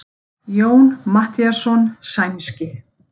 Jón Matthíasson sænski.